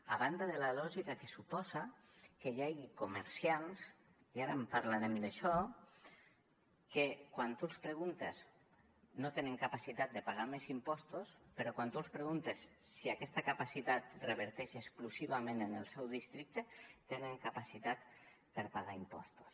a banda de la lògica que suposa que hi hagi comerciants i ara en parlarem d’això que quan tu els preguntes no tenen capacitat de pagar més impostos però quan tu els preguntes si aquesta capacitat reverteix exclusivament en el seu districte tenen capacitat per pagar impostos